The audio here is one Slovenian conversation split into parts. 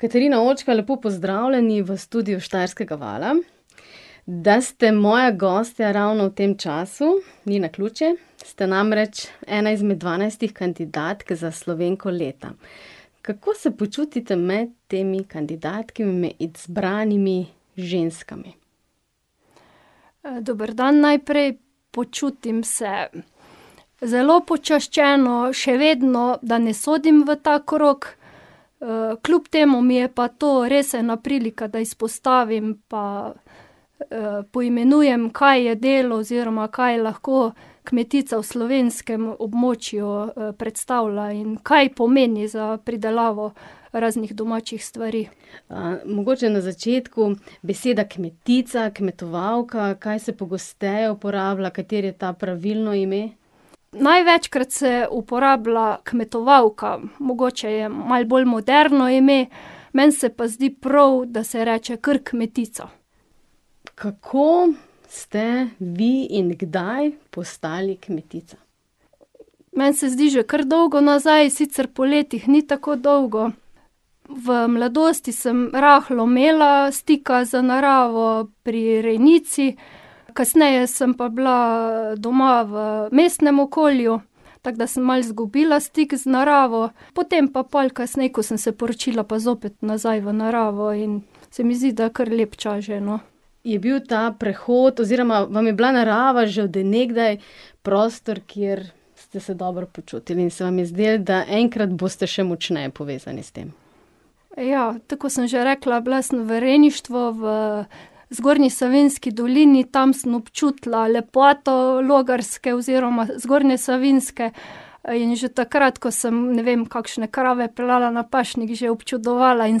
Katarina Očko, lepo pozdravljeni v studiu Štajerskega vala. Da ste moja gostja ravno v tem času, ni naključje. Ste namreč ena izmed dvanajstih kandidatk za Slovenko leta. Kako se počutite med temi kandidatkami, izbranimi ženskami? dober dan najprej. Počutim se zelo počaščeno, še vedno, da ne sodim v ta krog. kljub temu mi je pa to res ena prilika, da izpostavim pa, poimenujem, kaj je delo oziroma kaj lahko kmetica v slovenskem območju, predstavlja in kaj pomeni za pridelavo raznih domačih stvari. mogoče na začetku. Beseda kmetica, kmetovalka, kaj se pogosteje uporablja, katero je to pravilno ime? Največkrat se uporablja kmetovalka. Mogoče je malo bolj moderno ime. Meni se pa zdi prav, da se reče kar kmetica. Kako ste vi in kdaj postali kmetica? Meni se zdi že kar dolgo nazaj, sicer po letih ni tako dolgo. V mladosti sem rahlo imela stika z naravo pri rejnici, kasneje sem pa bila doma v mestnem okolju, tako da sem malo izgubila stik z naravo. Potem pa pol kasneje, ko sem se poročila, pa zopet nazaj v naravo in se mi zdi, da kar lep čas že, no. Je bil ta prehod oziroma vam je bila narava že od nekdaj prostor, kjer ste se dobro počutili in se vam je zdelo, da enkrat boste še močneje povezani s tem? Ja, tako kot sem že rekla, bila sem v rejništvu v Zgornji Savinjski dolini. Tam sem občutila lepoto Logarske oziroma Zgornje Savinjske, in že takrat, ko sem, ne vem, kakšne krave peljala na pašnik, že občudovala in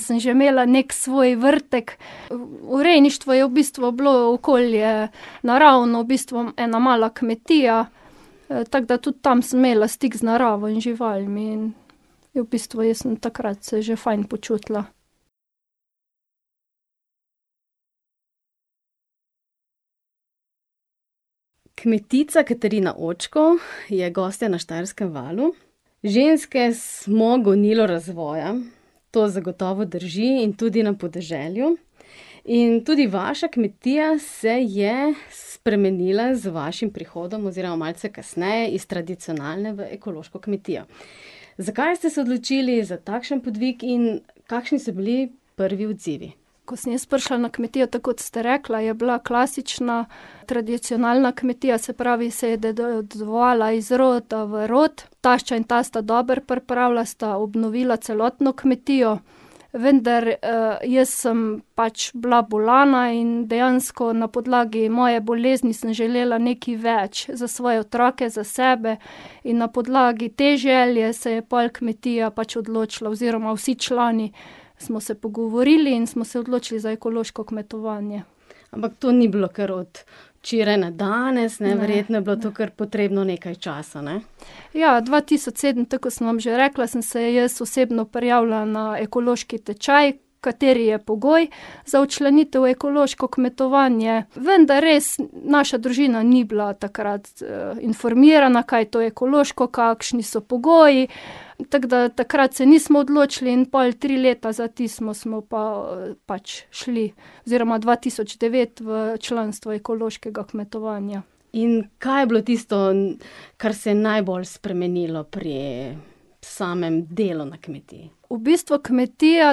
sem že imela neki svoj vrtek. V rejništvu je v bistvu bilo okolje naravno, v bistvu ena mala kmetija, tako da tudi tam sem imela stik z naravo in živalmi in v bistvu jaz sem takrat se že fajn počutila. Kmetica Katarina Očko je gostja na Štajerskem valu. Ženske smo gonilo razvoja. To zagotovo drži, in tudi na podeželju. In tudi vaša kmetija se je spremenila z vašim prihodom oziroma malce kasneje iz tradicionalne v ekološko kmetijo. Zakaj ste se odločili za takšen podvig in kakšni so bili prvi odzivi? Ko sem jaz prišla na kmetijo, tako kot ste rekla, je bila klasična, tradicionalna kmetija, se pravi, se je dedovala iz roda v rod. Tašča in tast sta dobro pripravila, sta obnovila celotno kmetijo, vendar, jaz sem pač bila bolana in dejansko na podlagi moje bolezni sem želela nekaj več za svoje otroke, za sebe. In na podlagi te želje se je pol kmetija pač odločila, oziroma vsi člani smo se pogovorili in smo se odločili za ekološko kmetovanje. Ampak to ni bilo kar od včeraj na danes, ne. Verjetno je bilo to kar potrebno nekaj časa, ne? Ja, dva tisoč sedem, tako kot sem vam že rekla, sem se jaz osebno prijavila na ekološki tečaj, kateri je pogoj za včlanitev v ekološko kmetovanje, vendar res naša družina ni bila takrat, informirana, kaj je to ekološko, kakšni so pogoji, tako da takrat se nismo odločili in pol tri leta za tistim smo pa, pač šli, oziroma dva tisoč devet v članstvo ekološkega kmetovanja. In kaj je bilo tisto, kar se je najbolj spremenilo pri samem delu na kmetiji? V bistvu kmetija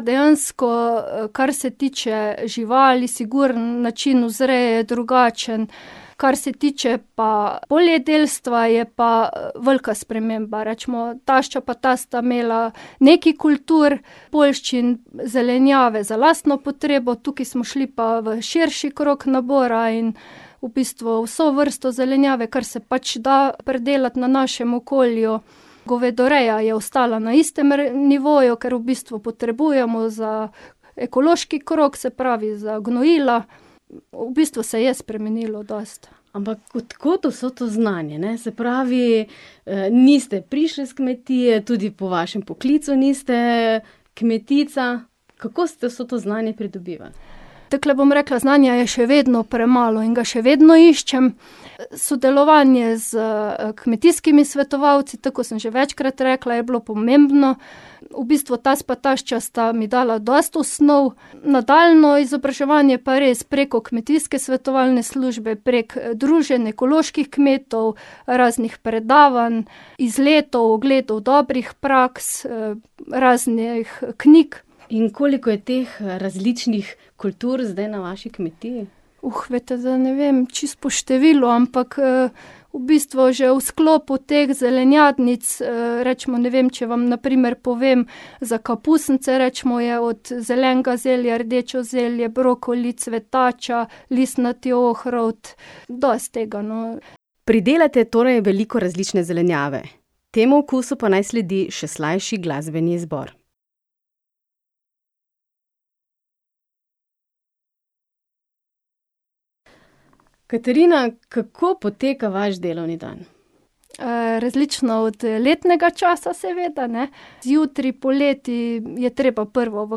dejansko, kar se tiče živali, sigurno način vzreje je drugačen. Kar se tiče pa poljedelstva, je pa, velika sprememba. Recimo tašča pa tast sta imela nekaj kultur poljščin, zelenjave za lastno potrebo, tukaj smo šli pa v širši krog nabora in v bistvu vso vrsto zelenjave, kar se pač da pridelati na našem okolju. Govedoreja je ostala na istem nivoju, ker v bistvu potrebujemo za ekološki krog, se pravi za gnojila. V bistvu se je spremenilo dosti. Ampak od kod vso to znanje, ne? Se pravi, niste prišli s kmetije, tudi po vašem poklicu niste kmetica. Kako ste vse to znanje pridobivali? Takole bom rekla, znanja je še vedno premalo in ga še vedno iščem. Sodelovanje s, kmetijskimi svetovalci, tako kot sem že večkrat rekla, je bilo pomembno. V bistvu tast pa tašča sta mi dala dosti osnov, nadaljnje izobraževanje pa res preko kmetijske svetovalne službe, prek druženj ekoloških kmetov, raznih predavanj, izletov, ogledov dobrih praks, raznih knjig. In koliko je teh, različnih kultur zdaj na vaši kmetiji? veste, zdaj ne vem čisto po številu, ampak, v bistvu že v sklopu teh zelenjadnic, recimo, ne vem, če vam na primer povem, za kapusnice, recimo, je od zelenega zelja, rdeče zelje, brokoli, cvetača, listnati ohrovt. Dosti tega, no. Pridelate torej veliko različne zelenjave. Temu okusu pa naj sledi še slajši glasbeni izbor. Katarina, kako poteka vaš delovni dan? različno od letnega časa seveda, ne. Zjutraj poleti je treba prvo v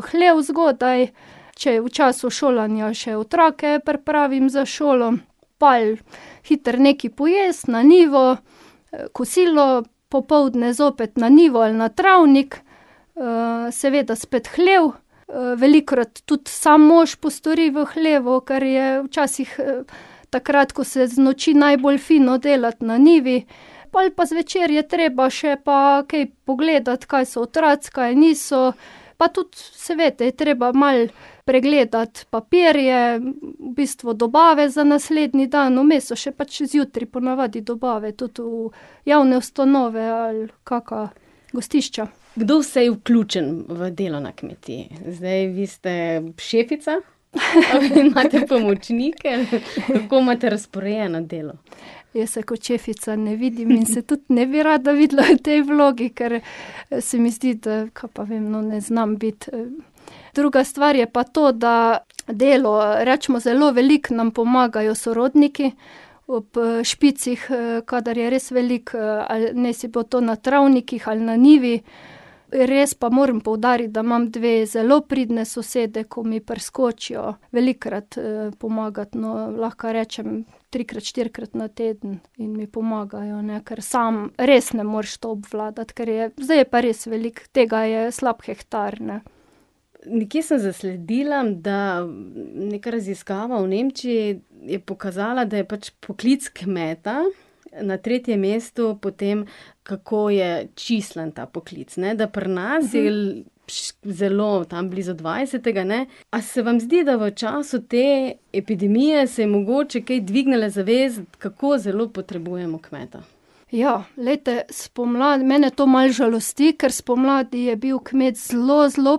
hlev zgodaj, če je v času šolanja, še otroke pripravim za šolo. Pol hitro nekaj pojesti, na njivo, kosilo, popoldne zopet na njivo ali na travnik, seveda spet hlev, velikokrat tudi sam mož postori v hlevu, ker je včasih takrat, ko se znoči, najbolj fino delati na njivi. Pol pa zvečer je treba še pa kaj pogledati, kaj so otroci, kaj niso, pa tudi saj veste, je treba malo pregledati papirje, v bistvu dobave za naslednji dan. Vmes so še pač zjutraj po navadi dobave tudi v javne ustanove ali kaka gostišča. Kdo vse je vključen v delo na kmetiji? Zdaj vi ste šefica, imate pomočnike, kako imate razporejeno delo? Jaz se kot šefica ne vidim in se tudi ne bi rada videla v tej vlogi, ker se mi zdi, da, kaj pa vem, no, ne znam biti. druga stvar je pa to, da delo, recimo zelo veliko nam pomagajo sorodniki ob, špicih, kadar je res veliko, ali naj si bo to na travnikih ali na njivi. Res pa moram poudariti, da imam dve zelo pridni sosedi, ko mi priskočijo velikokrat, pomagat, no. Lahko rečem trikrat, štirikrat na teden. In mi pomagajo, ne, ker sam res ne moreš to obvladati. Kar je, zdaj je pa res veliko, tega je slab hektar, ne. Nekje sem zasledila, da neka raziskava v Nemčiji je pokazala, da je pač poklic kmeta na tretjem mestu po tem, kako je čislan ta poklic, ne. Da pri nas zelo, tam blizu dvajsetega, ne. A se vam zdi, da v času te epidemije se je mogoče kaj dvignila zavest, kako zelo potrebujemo kmeta? Ja. Glejte, spomladi, mene to malo žalosti, ker spomladi je bil kmet zelo, zelo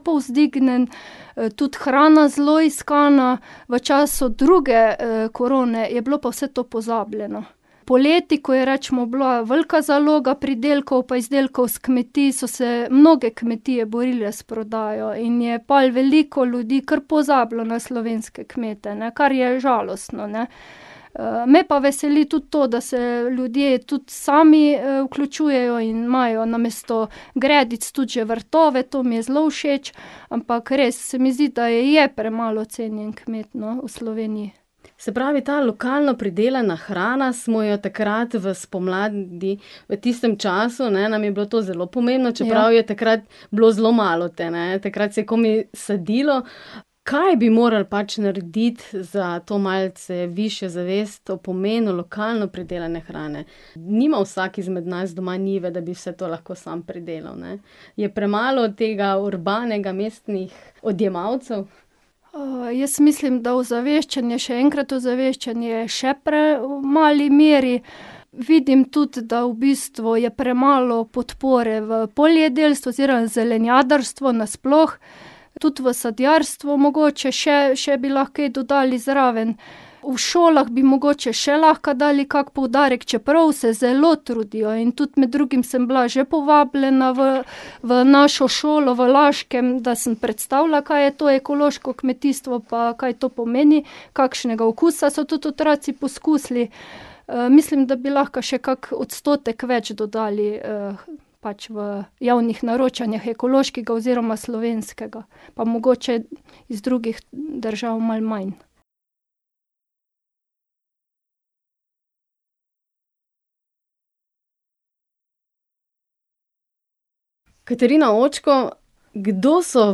povzdignjen, tudi hrana zelo iskana, v času druge, korone je bilo pa vse to pozabljeno. Poleti, ko je recimo bila velika zaloga pridelkov pa izdelkov s kmetij, so se mnoge kmetije borile s prodajo in je pol veliko ljudi kar pozabilo na slovenske kmete, ne. Kar je žalostno, ne. me pa veseli tudi to, da se ljudje tudi sami, vključujejo in imajo namesto gredic tudi že vrtove. To mi je zelo všeč. Ampak res se mi zdi, da je premalo cenjen kmet, no, v Sloveniji. Se pravi, ta lokalno pridelana hrana, smo jo takrat v spomladi v tistem času, ne, nam je bilo to zelo pomembno, čeprav je takrat bilo zelo malo te, ne. Takrat se je komaj sadilo. Kaj bi moral pač narediti za to malce višjo zavest o pomenu lokalno pridelane hrane? Nima vsak izmed nas doma njive, da bi vse to lahko sam pridelal, ne. Je premalo tega urbanega, mestnih odjemalcev? jaz mislim, da ozaveščanje, še enkrat ozaveščanje, še premali meri. Vidim tudi, da v bistvu je premalo podpore v poljedelstvu oziroma zelenjadarstvu nasploh. Tudi v sadjarstvu mogoče še, še bi lahko kaj dodali zraven. V šolah bi mogoče še lahko dali kak poudarek, čeprav se zelo trudijo, in tudi med drugim sem bila že povabljena v v našo šolo v Laškem, da sem predstavila, kaj je to ekološko kmetijstvo pa kaj to pomeni, kakšnega okusa, so tudi otroci poskusili. mislim, da bi lahko še kak odstotek več dodali, pač v javnih naročanjih ekološkega oziroma slovenskega. Pa mogoče iz drugih držav malo manj. Katarina Očko, kdo so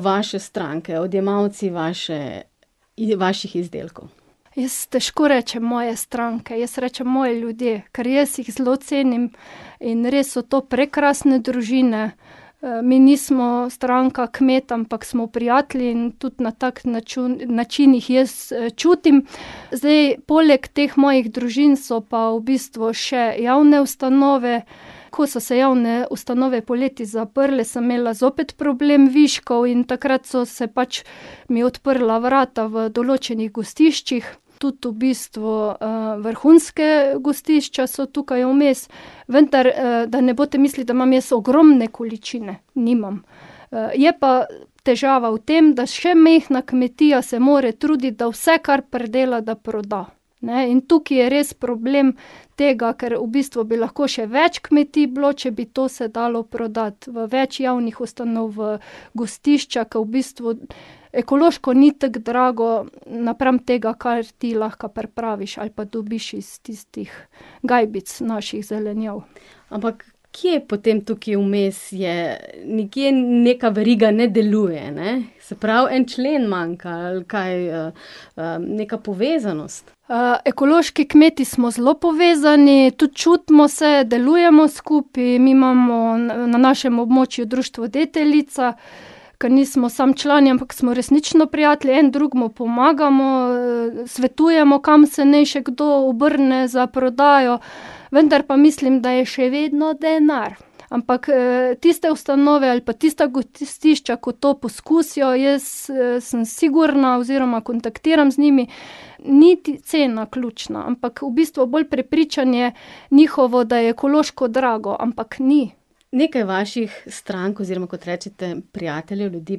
vaše stranke, odjemalci vaše vaših izdelkov? Jaz težko rečem, moje stranke, jaz rečem moji ljudje. Kar jaz jih zelo cenim in res so to prekrasne družine. mi nismo stranka kmeta, ampak smo prijatelji, in tudi na tak način jih jaz čutim. Zdaj poleg teh mojih družin so pa v bistvu še javne ustanove. Ko so se javne ustanove poleti zaprle, sem imela zopet problem viškov in takrat so se pač mi odprla vrata v določenih gostiščih. Tudi v bistvu, vrhunske gostišča so tukaj vmes. Vendar, da ne boste misli, da imam jaz ogromne količine. Nimam. je pa težava v tem, da še majhna kmetija se mora truditi, da vse, kar pridela, da proda, ne. In tukaj je res problem tega, ker v bistvu bi lahko še več kmetij bilo, če bi to se dalo prodati. V več javnih ustanov, v gostišča, ke v bistvu ekološko ni tako drago napram tega, kar ti lahko pripraviš ali pa dobiš iz tistih gajbic naših zelenjav. Ampak kje potem tukaj vmes je ... Nekje neka veriga ne deluje, ne? Se pravi, en člen manjka ali kaj, neka povezanost? ekološki kmeti smo zelo povezani, tudi čutimo se, delujemo skupaj. Mi imamo na našem območju društvo Deteljica, ker nismo samo člani, ampak smo resnično prijatelji, en drugemu pomagamo, svetujemo, kam se naj še kdo obrne za prodajo. Vendar pa mislim, da je še vedno denar. Ampak, tiste ustanove ali pa tista gostišča, ko to poskusijo, jaz, sem sigurna oziroma kontaktiram z njimi, niti cena ključna, ampak v bistvu bolj prepričanje njihovo, da je ekološko drago, ampak ni. Nekaj vaših strank oziroma, kot rečete, prijateljev, ljudi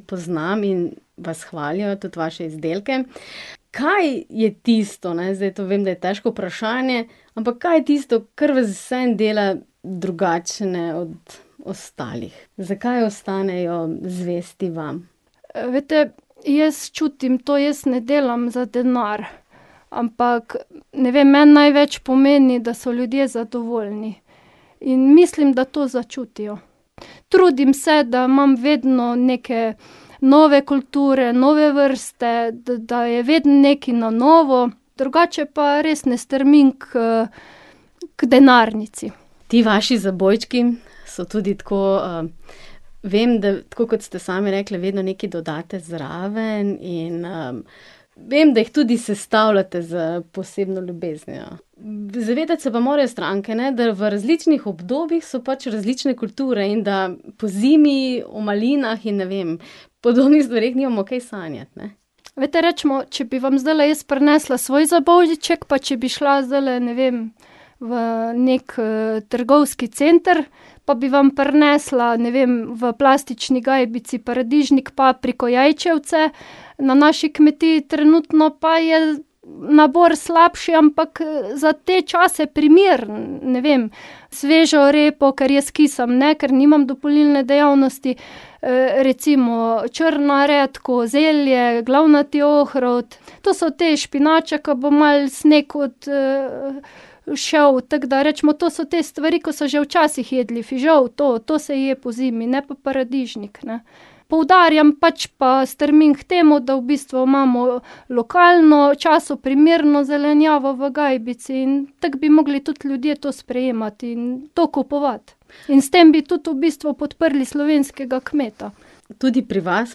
poznam in vas hvalijo, tudi vaše izdelke. Kaj je tisto, ne, zdaj to vem, da je težko vprašanje, ampak kaj je tisto, kar vas vseeno dela drugačne od ostalih? Zakaj ostanejo zvesti vam? veste, jaz čutim to, jaz ne delam za denar, ampak ne vem, meni največ pomeni, da so ljudje zadovoljni. In mislim, da to začutijo. Trudim se, da imam vedno neke nove kulture, nove vrste, da je vedno nekaj na novo, drugače pa res ne strmim k, ker denarnici. Ti vaši zabojčki so tudi tako, vem, da, tako kot ste sami rekli, vedno nekaj dodate zraven in, vem, da jih tudi sestavljate s posebno ljubeznijo. zavedati se pa morajo stranke, ne, da v različnih obdobjih so pač različne kulture in da pozimi o malinah in, ne vem, podobnih stvareh, nimamo kaj sanjati, ne. Veste, recimo, če bi vam zdajle jaz prinesla svoj zabojček pa če bi šla zdajle, ne vem, v neki, trgovski center, pa bi vam prinesla, ne vem, v plastični gajbici paradižnik, papriko, jajčevce, na naši kmetiji trenutno pa je nabor slabši, ampak za te čase primeren, ne vem. Svežo repo, ker jaz kisam ne, ker nimam dopolnilne dejavnosti, recimo, črna redkev, zelje, glavnati ohrovt. To so te špinače, ke bo malo sneg od, šel, tako da recimo, to so te stvari, ko so že včasih jedli. Fižol, to, to se je pozimi, ne pa paradižnik, ne. Poudarjam, pač pa strmim k temu, da v bistvu imamo lokalno, času primerno zelenjavo v gajbici, in tako bi mogli tudi ljudje to sprejemati in to kupovati. In s tem bi tudi v bistvu podprli slovenskega kmeta. Tudi pri vas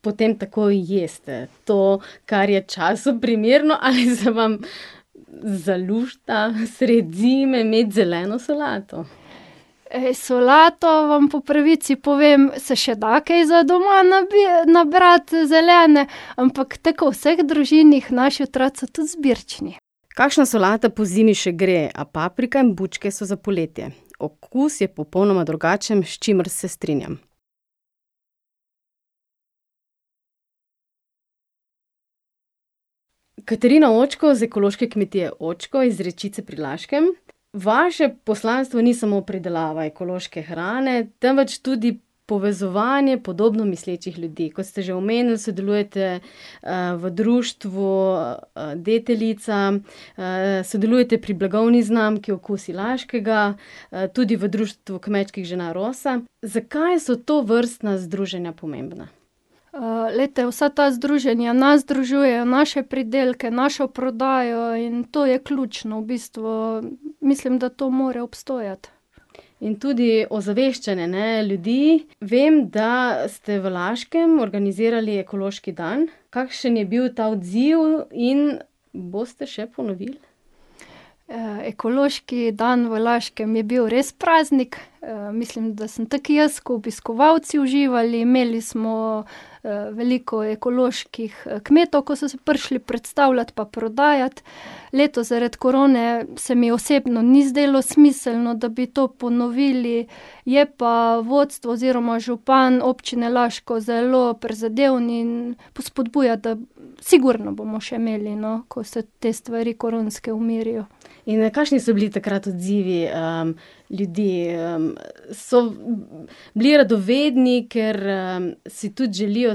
potem tako jeste. To, kar je času primerno, ali se vam zalušta sredi zime imeti zeleno solato? solato, vam po pravici povem, se še da kaj za doma nabrati zelene, ampak tako kot v vseh družinah naši otroci so tudi izbirčni. Kakšna solata pozimi še gre, a paprika in bučke so za poletje. Okus je popolnoma drugačen, s čimer se strinjam. Katarina Očko z ekološke kmetije Očko iz Rečice pri Laškem, vaše poslanstvo ni samo pridelava ekološke hrane, temveč tudi povezovanje podobno mislečih ljudi. Kot ste že omenili, sodelujete, v društvu Deteljica, sodelujete pri blagovni znamki Okusi Laškega, tudi v društvu kmečkih žena Roza. Zakaj so tovrstna združenja pomembna? glejte, vsa ta združenja nas združujejo, naše pridelke, našo prodajo in to je ključno v bistvu, mislim, da to mora obstojati. In tudi ozaveščanje, ne, ljudi. Vem, da ste v Laškem organizirali ekološki dan. Kakšen je bil ta odziv in boste še ponovili? ekološki dan v Laškem je bil res praznik. mislim, da sem tako jaz ko obiskovalci uživali, imeli smo, veliko ekoloških, kmetov, ko so se prišli predstavljati pa prodajati. Letos zaradi korone se mi osebno ni zdelo smiselno, da bi to ponovili, je pa vodstvo oziroma župan občine Laško zelo prizadeven in spodbuja, da ... Sigurno bomo še imeli, no, ko se te stvari koronske umirijo. In, kakšni so bili takrat odzivi, ljudi, So bili radovedni, ker, si tudi želijo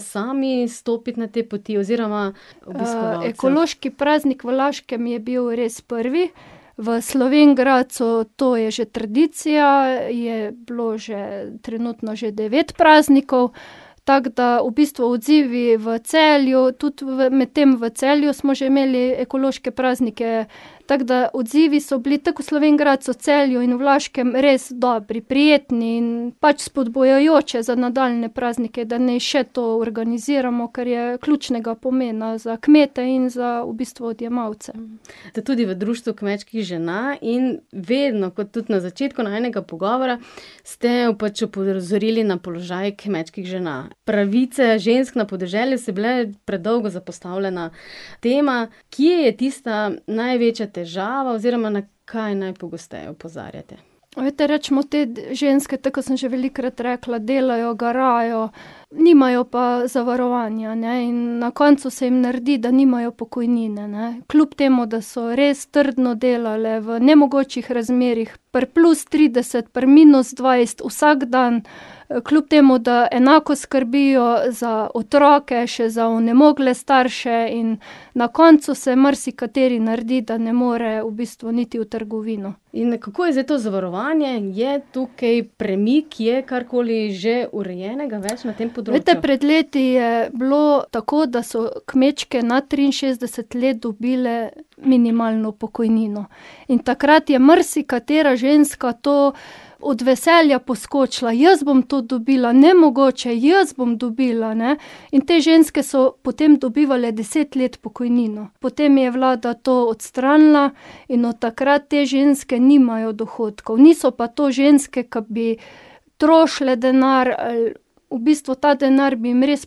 sami stopiti na te poti oziroma ekološki obiskovalce? praznik v Laškem je bil res prvi, v Slovenj Gradcu to je že tradicija, je bilo že trenutno že devet praznikov, tako da v bistvu odzivi v Celju, tudi medtem v Celju smo že imeli ekološke praznike, tako da odzivi so bili tako v Slovenj Gradcu, v Celju in v Laškem res dobri. Prijetni in pač spodbujajoče za nadaljnje praznike, da naj še to organiziramo, kar je ključnega pomena za kmete in za v bistvu odjemalce. Ste tudi v društvu kmečkih žena in vedno, kot tudi na začetku najinega pogovora, ste pač opozorili na položaj kmečkih žena. Pravice žensk na podeželju so bile predolgo zapostavljena tema. Kje je tista največja težava oziroma na kaj najpogosteje opozarjate? Veste, recimo, te ženske, tako kot sem že velikokrat rekla, delajo, garajo, nimajo pa zavarovanja, ne, in na koncu se jim naredi, da nimajo pokojnine, ne. Kljub temu da so res trdno delale v nemogočih razmerah pri plus trideset, pri minus dvajset, vsak dan. kljub temu da enako skrbijo za otroke, še za onemogle starše in na koncu se marsikateri naredi, da ne more v bistvu niti v trgovino. In kako je zdaj to zavarovanje? Je tukaj premik, je karkoli že urejenega več na tem Veste, pred leti je bilo tako, da so kmečke nad triinšestdeset let dobile minimalno pokojnino. In takrat je marsikatera ženska to od veselja poskočila. "Jaz bom to dobila, nemogoče, jaz bom dobila, ne?" In te ženske so potem dobivale deset let pokojnino. Potem je vlada to odstranila in od takrat te ženske nimajo dohodkov. Niso pa to ženske, ki bi trošile denar ali ... V bistvu ta denar bi jim res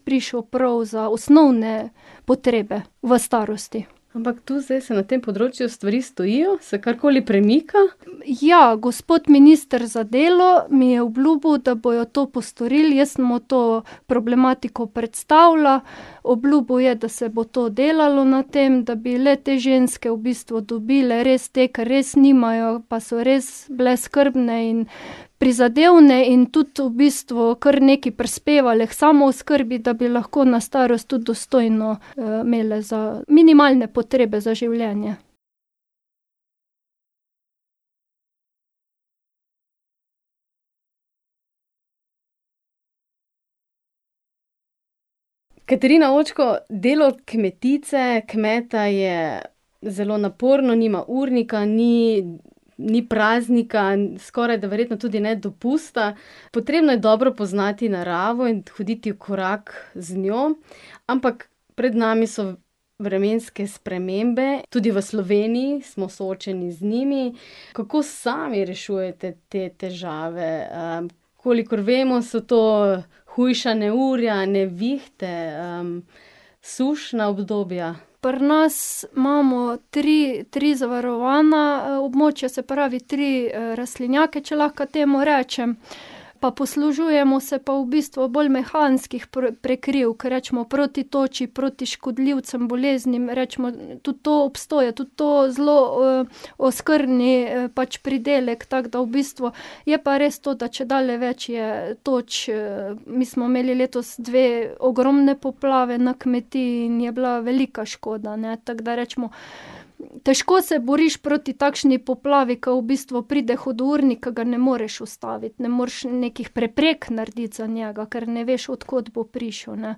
prišel prav za osnovne potrebe v starosti. Ampak tu zdaj se na tem področju stvari stojijo, se karkoli premika? Ja, gospod minister za delo mi je obljubil, da bojo to postorili. Jaz sem mu to problematiko predstavila. Obljubil je, da se bo to delalo na tem, da bi le-te ženske v bistvu dobile, res te, k res nimajo, pa so res bile skrbne in prizadevne in tudi v bistvu kar nekaj prispevale k samooskrbi, da bi lahko na starost tudi dostojno, imele za minimalne potrebe za življenje. Katarina Očko, delo kmetice, kmeta, je zelo naporno, nima urnika, ni ni praznika, skorajda verjetno tudi ne dopusta. Potrebno je dobro poznati naravo in hoditi v korak z njo. Ampak pred nami so vremenske spremembe, tudi v Sloveniji smo soočeni z njimi. Kako sami rešujete te težave? kolikor vemo, so to hujša neurja, nevihte, sušna obdobja. Pri nas imamo tri, tri zavarovana, območja, se pravi, tri, rastlinjake, če lahko temu rečem. Pa poslužujemo se pa v bistvu bolj mehanskih prekrivk, recimo, proti toči, proti škodljivcem, boleznim, recimo, tudi to obstoja, tudi to zelo, okrni pač pridelek, tako da v bistvu ... Je pa res to, da čedalje več je toč, mi smo imeli letos dve ogromni poplavi na kmetiji in je bila velika škoda, ne. Tako da, recimo, težko se boriš proti takšni poplavi, ker v bistvu pride hudournik, ker ga ne moreš ustaviti. Ne moreš nekih preprek narediti za njega, kar ne veš, od kod bo prišel, ne.